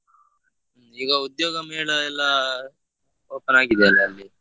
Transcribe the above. ಈಗ ಉದ್ಯೋಗ ಮೇಳ ಎಲ್ಲಾ open ಆಗಿದೆಯಲ್ಲಾ ಅಲ್ಲಿ.